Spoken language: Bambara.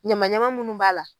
Ɲamaɲama munnu b'a la.